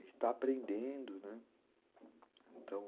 e está aprendendo, né, então